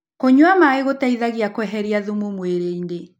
Kũnyua maĩ gũteĩthagĩa kweherĩa thũmũ mwĩrĩĩnĩ